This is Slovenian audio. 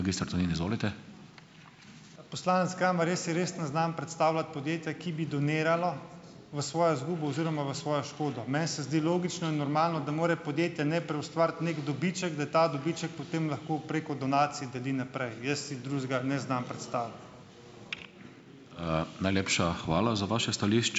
Poslanec Kamar, jaz si res ne znam predstavljati podjetja, ki bi doniralo v svojo izgubo oziroma v svojo škodo. Meni se zdi logično in normalno, da mora podjetje najprej ustvariti neki dobiček, da ta dobiček potem lahko preko donacij deli naprej. Jaz si drugega ne znam predstavljati.